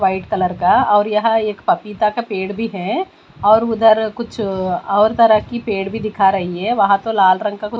white colour का और यहाँ एक पपीता का पेड़ भी है और उधर कुछ और तरह की पेड़ भी दिखा रही है वहाँ तो लाल रंग का कु--